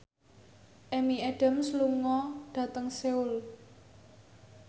Amy Adams lunga dhateng Seoul